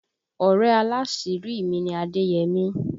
Ọ̀rẹ́ aláàsírí mi ni Adéyẹmí